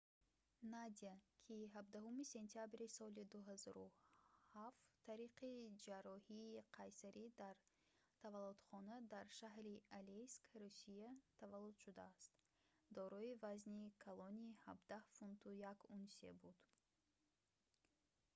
надя ки 17 сентябри 2007 тариқи ҷарроҳии қайсарӣ дар таваллудхона дар шаҳри алейск русия таваллуд шудааст дорои вазни калони 17 фунту 1 унсия буд